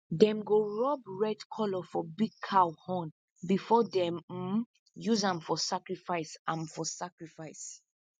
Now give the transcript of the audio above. them go rub red colour for big cow horn before them um use am for sacrifice am for sacrifice